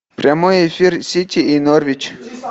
прямой эфир сити и норвич